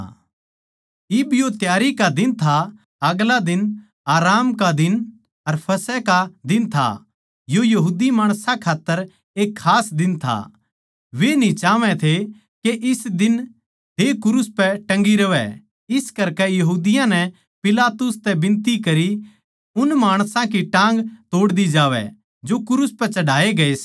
इब यो त्यारी का दिन था अर आगला दिन आराम का दिन अर फसह का दिन था यो यहूदी माणसां खात्तर एक खास दिन था अर वे न्ही चाहवै थे के इस दिन देह क्रूस पै टंगी रहवै इस करकै यहूदियाँ नै पिलातुस तै बिनती करी के उन माणसां की जो क्रूस पै चढ़ाये गये थे टाँग तोड़ दी जावै